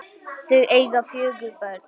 Þau eiga fjögur börn